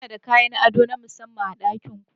Kuna da kayan ado na musamman a ɗakin ku?